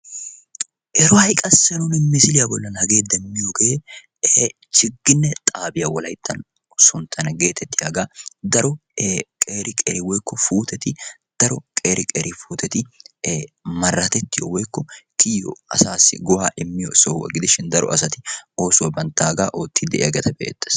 Ero ha'i qassi misiliyaa bolli nuuni demmiyoogee ee Chigigne xaabiyaa wolayttan sunttana geetettiyaaga daro qeeri qeeri puutetti maratettiyoo woykko kiyiyoo asaassi daro asati banttaagaa oosuwaa oottidi